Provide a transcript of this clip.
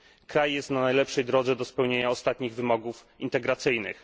Kraj jest na najlepszej drodze do spełnienia ostatnich wymogów integracyjnych.